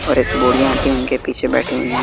और एक बुढ़िया आंटी उनके पीछे बैठी हुई है।